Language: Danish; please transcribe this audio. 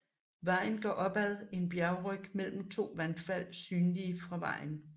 Vejen går opad en bjergryg mellem to vandfald synlige fra vejen